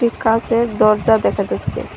কাঁচের দরজা দেখা যাচ্ছে।